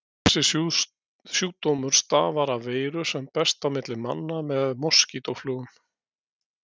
Þessi sjúkdómur stafar af veiru sem berst á milli manna með moskítóflugum.